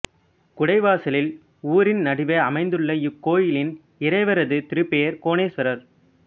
குடவாசலில் ஊரின் நடுவே அமைந்துள்ள இக்கோயிலின் இறைவரது திருப்பெயர் கோணேசுவரர்